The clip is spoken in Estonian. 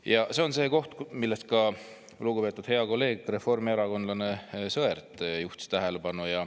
Ja see on see koht, millele ka lugupeetud hea kolleeg, reformierakondlane Sõerd juhtis tähelepanu.